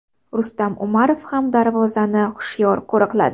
Rustam Umarov ham darvozani hushyor qo‘riqladi.